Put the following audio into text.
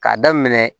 K'a daminɛ